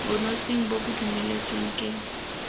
bonosing bo bo dumeletsweng ke